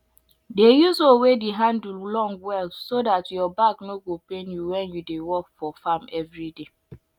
dey use hoe wey de handle long well so dat your back no go pain you wen u dey work for farm everyday